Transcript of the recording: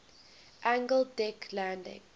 angled deck landing